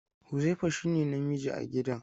Huzaifa shine namiji a gidan.